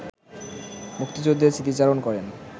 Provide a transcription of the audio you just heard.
মুক্তিযুদ্ধের স্মৃতিচারণ করেন